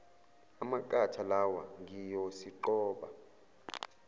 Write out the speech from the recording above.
amaqatha lawa ngiyosiqoba